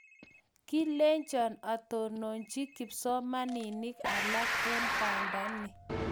Kolenjon atononchi kipsomaninik alak eng bandani